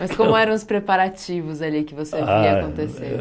Mas como eram os preparativos ali que você via acontecer?